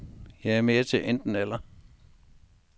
Jeg er mere til enten eller.